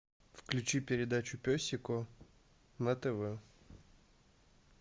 включи передачу пес и ко на тв